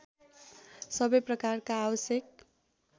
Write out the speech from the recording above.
सबै प्रकारका आवश्यक